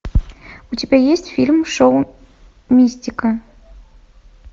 у тебя есть фильм шоу мистика